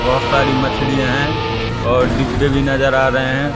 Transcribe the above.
बहोत सारी मछलीयां है और डिबे भी नजर आ रहे हैं।